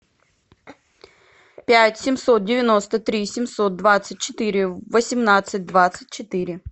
пять семьсот девяносто три семьсот двадцать четыре восемнадцать двадцать четыре